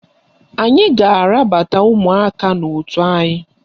Anyị ga-arabata ụmụaka n'otu anyị